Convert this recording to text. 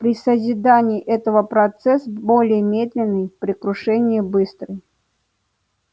при созидании этого процесс более медленный при крушении быстрый